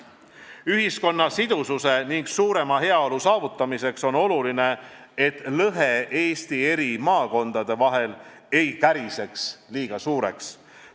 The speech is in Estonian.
Ühiskonna sidususe ning suurema heaolu saavutamiseks on oluline, et lõhe Eesti maakondade vahel ei käriseks liiga suureks.